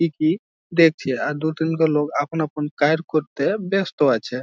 একই দেখছি আর দু তিনটি লোক আপন আপন কায়েম করতে ব্যাস্ত আছে।